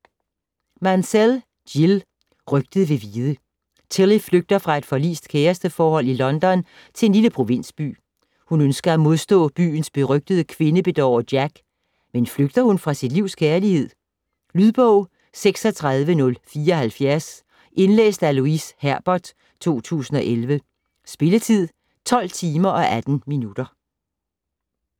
Mansell, Jill: Rygtet vil vide Tilly flygter fra et forlist kæresteforhold i London til en lille provinsby. Hun ønsker at modstå byens berygtede kvindebedårer, Jack. Men flygter hun fra sit livs kærlighed? Lydbog 36074 Indlæst af Louise Herbert, 2011. Spilletid: 12 timer, 18 minutter.